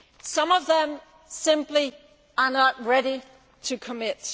Some of them simply are not ready to commit.